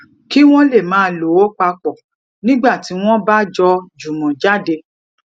kí won lè máa lò ó papò nígbà tí wón bá jó jumo jade